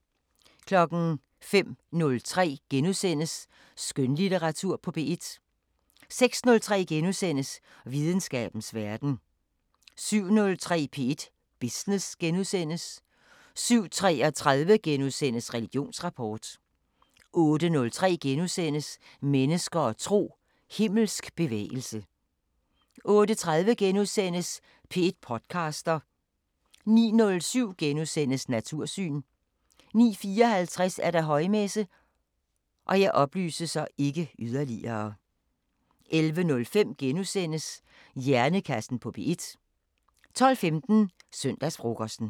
05:03: Skønlitteratur på P1 * 06:03: Videnskabens Verden * 07:03: P1 Business * 07:33: Religionsrapport * 08:03: Mennesker og tro: Himmelsk bevægelse * 08:30: P1 podcaster * 09:07: Natursyn * 09:54: Højmesse - 11:05: Hjernekassen på P1 * 12:15: Søndagsfrokosten